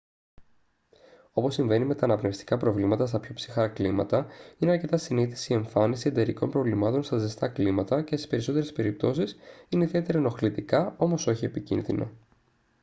όπως συμβαίνει με τα αναπνευστικά προβλήματα στα πιο ψυχρά κλίματα είναι αρκετά συνήθης η εμφάνιση εντερικών προβλημάτων στα ζεστά κλίματα και στις περισσότερες περιπτώσεις είναι ιδιαίτερα ενοχλητικά όμως όχι επικίνδυνα